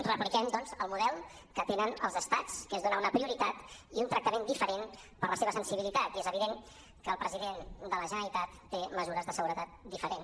repliquem doncs el model que tenen els estats que és donar una prioritat i un tractament diferent per la seva sensibilitat i és evident que el president de la generalitat té mesures de seguretat diferents